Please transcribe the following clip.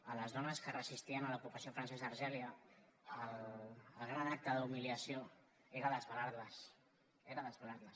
a les dones que es resistien a l’ocupació francesa a algèria el gran acte d’humiliació era desvelar les era desvelar les